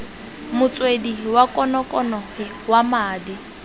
motswedi wa konokono wa madi